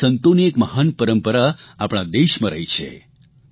જેમાં સંતોની એક મહાન પરંપરા આપણા દેશમાં રહી છે